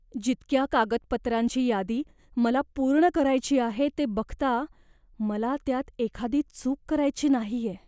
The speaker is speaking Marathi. जितक्या कागदपत्रांची यादी मला पूर्ण करायची आहे ते बघता, मला त्यात एखादी चूक करायची नाहीये.